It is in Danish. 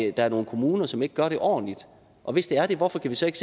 er nogle kommuner som ikke gør det ordentlig og hvis det er det hvorfor vi så ikke